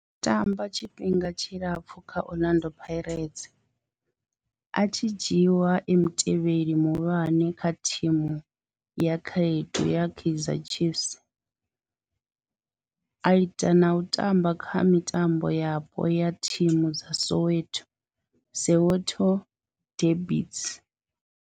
O tamba tshifhinga tshilapfhu kha Orlando Pirates, a tshi dzhiiwa e mutevheli muhulwane wa thimu ya vhakhaedu ya Kaizer Chiefs, a ita na u tamba kha mitambo yapo ya thimu dza Soweto Soweto derbies.